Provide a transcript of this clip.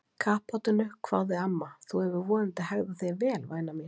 Kappátinu hváði amma, þú hefur vonandi hegðað þér vel væna mín?